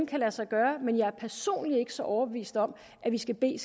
kan lade sig gøre men jeg er personligt ikke så overbevist om at vi skal bede